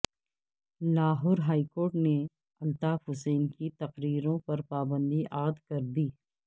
Lahore high court نے الطاف حسین کی تقریروں پر پابندی عائد کردی